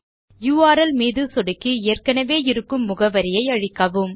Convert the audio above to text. URL மீது சொடுக்கி ஏற்கனவே இருக்கும் முகவரியை அழிக்கவும்